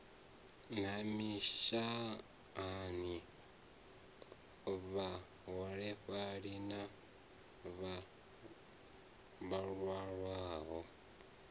na mishahani vhaholefhali na vhalwaho